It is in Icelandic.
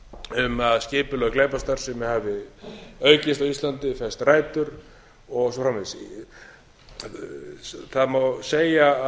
um að skipulögð glæpastarfsemi hafi aukist á íslandi fest rætur og svo framvegis það má segja